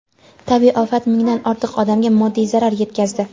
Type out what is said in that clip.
tabiiy ofat mingdan ortiq odamga moddiy zarar yetkazdi.